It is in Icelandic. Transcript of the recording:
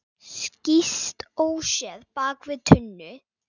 Skýst óséð bak við tunnu.